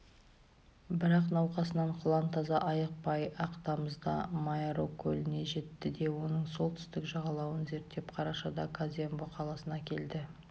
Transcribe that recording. бірақ науқасынан құлан таза айықпай-ақ тамызда маеро көліне жетті де оның солтүстік жағалауын зерттеп қарашада казембо қаласына келеді